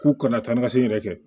K'u kana taa ni ka segin yɛrɛ kɛ